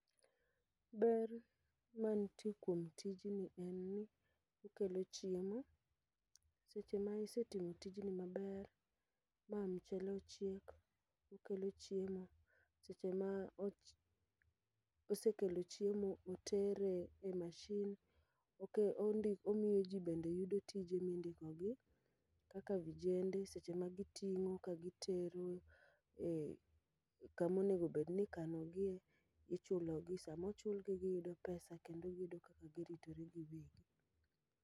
Ber mantie kuom tijni en ni okelo chiemo. Seche ma isetimo tijni maber ma mchele ochiek, okelo chiemo seche ma osekelo chiemo utere e mashin. Oke ondi omiyo ji bende yudo tije mindikogi, kaka vijende seche ma giting'o ka gitero e kamonego bedni ikanogie, ichulogi. Samochulgi giyudo pesa kendo giyudo kaka giritore giwegi.